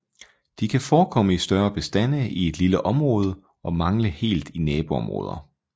De kan forekomme i større bestande i et lille område og mangle helt i naboområder